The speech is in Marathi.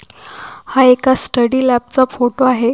हा एक स्टडी लॅब चा फोटो आहे.